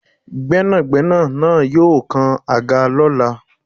Gbénàgbénà naa yóò kan àga lọ́la